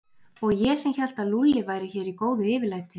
Og ég sem hélt að Lúlli væri hér í góðu yfirlæti.